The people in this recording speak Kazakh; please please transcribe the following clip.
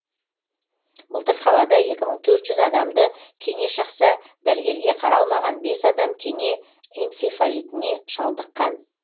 былтыр қалада екі мың төрт жүз адамды кене шақса дәрігерге қаралмаған бес адам кене энцифалитіне шалдыққан